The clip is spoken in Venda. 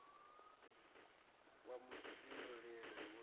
wa vhufhinduleli hu d o